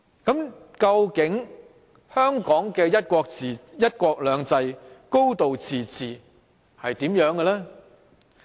究竟香港的"一國兩制"、"高度自治"是怎樣的呢？